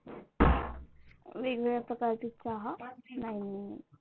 वेगवेगळ्या प्रकारची चहा नाही नाही नाही